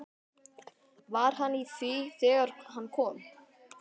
Var hann í því þegar hann kom?